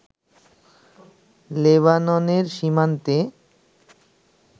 লেবাননের সীমান্তে